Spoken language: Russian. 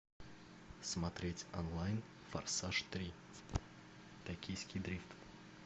смотреть онлайн форсаж три токийский дрифт